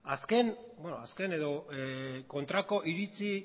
kontrako iritzi